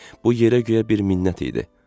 Bu yerə guya bir minnət idi.